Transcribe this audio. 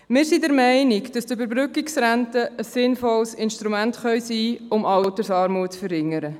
Wir sind der Meinung, dass eine Überbrückungsrente ein sinnvolles Instrument sein kann, um Altersarmut zu verringern.